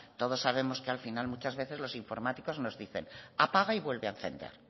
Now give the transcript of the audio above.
todos sabemos que al final muchas veces los informáticos nos dicen apaga y vuelve a encender